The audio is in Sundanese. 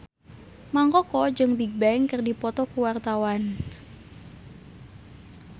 Mang Koko jeung Bigbang keur dipoto ku wartawan